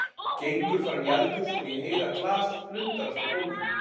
Gengur fram í eldhús og ég heyri að glas splundrast á gólfinu.